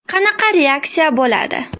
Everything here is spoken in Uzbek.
Qanaqa reaksiya bo‘ladi?